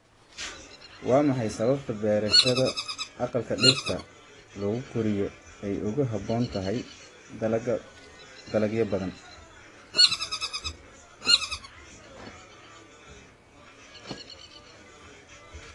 Waa maxay sababta beerashada aqalka dhirta lagu koriyo ay ugu habboon tahay dalaga dalagyo badhan.